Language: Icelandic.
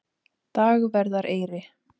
Dagverðareyri